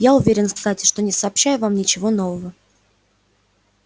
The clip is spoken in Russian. я уверен кстати что не сообщаю вам ничего нового